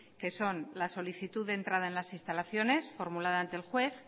que son la solicitud de entrada en las instalaciones formulada ante el juez